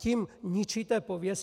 Tím ničíte pověst.